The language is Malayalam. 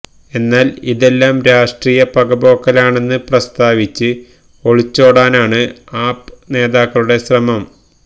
എന്നാൽ ഇതെല്ലാം രാഷ്ട്രീയ പകപോക്കലാണെന്ന് പ്രസ്താവിച്ച് ഒളിച്ചോടാനാണ് ആപ് നേതാക്കളുടെ ശ്രമം